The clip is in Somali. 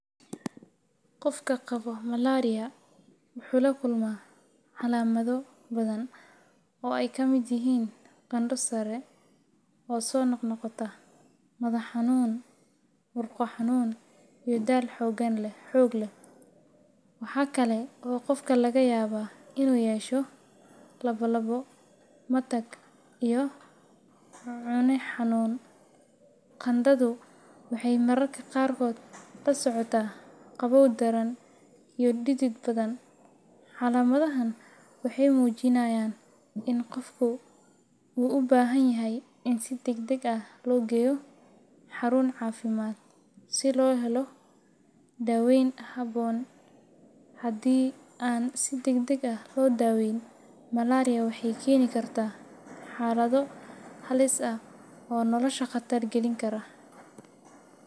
Qofka qabo malaria wuxuu la kulmaa calaamado badan oo ay ka mid yihiin qandho sare oo soo noqnoqota, madax xanuun, murqo xanuun, iyo daal xoog leh. Waxa kale oo qofka laga yaabaa inuu yeesho lalabbo, matag, iyo cune xanuun. Qandhadu waxay mararka qaarkood la socotaa qabow daran iyo dhidid badan. Calaamadahan waxay muujinayaan in qofka uu u baahan yahay in si degdeg ah loo geeyo xarun caafimaad si loo helo daaweyn habboon. Haddii aan si degdeg ah loo daaweyn, malaria waxay keeni kartaa xaalado halis ah oo nolosha khatar gelin kara.